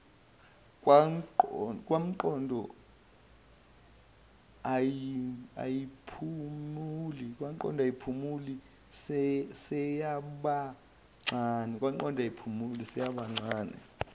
kwangqondo ayiphumuli seyabangena